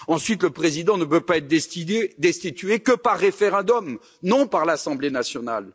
Ensuite, le président ne peut être destitué que par référendum, non par l'Assemblée nationale.